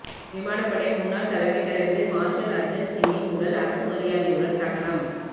விமானப்படை முன்னாள் தலைமை தளபதி மார்ஷல் அர்ஜன் சிங்கின் உடல் அரசு மரியாதையுடன் தகனம்